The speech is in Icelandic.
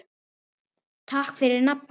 Takk fyrir nafnið.